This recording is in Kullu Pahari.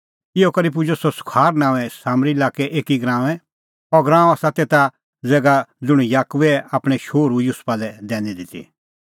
इहअ करै पुजअ सह सुखार नांओंऐं सामरी लाक्कै एकी गराऊंऐं अह गराअं आसा तेसा ज़ैगा ज़ुंण याकूबै आपणैं शोहरू युसुफा लै दैनी ती